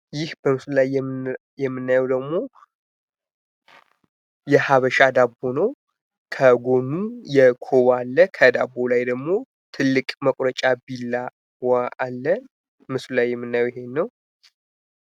ይህ በምስሉ ላይ የምናየው ደግሞ የሀበሻ ዳቦ ነው። ከጎኑ የኮባ አለ። ከዳቦው ላይ ደግሞ ትልቅ መቁረጫ ቢላዋ አለ። ምስሉ ላይ የምናየው ይሄ ነው።